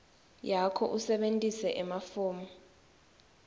yakho usebentise emafomu